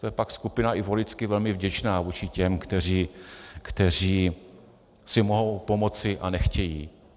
To je pak skupina i voličsky velmi vděčná vůči těm, kteří si mohou pomoci a nechtějí.